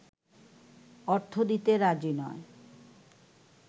অর্থ দিতে রাজি নয়